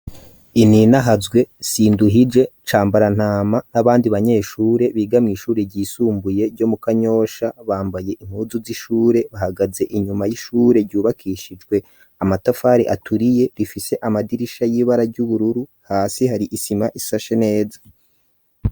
Ininahazwe, sinduhije cambarantama n'abandi banyeshure bigamye ishure ryisumbuye ryo mu kanyosha bambaye inkuzu z'ishure bahagaze inyuma y'ishure ryubakishizwe amatafari aturiye bifise amadirisha y'ibara ry'ubururu hasi hari isima isashe neza.